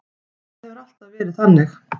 Það hefur alltaf verið þannig.